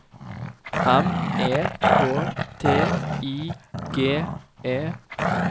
M E K T I G E